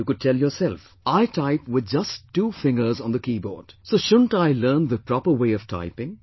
Or you could tell yourself, "I type with just two fingers on the keyboard, so shouldn't I learn proper way of typing